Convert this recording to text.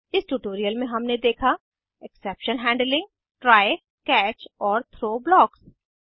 इस ट्यूटोरियल में हमने देखा एक्सेप्शन हैंडलिंग ट्राय कैच और थ्रो ब्लॉक्स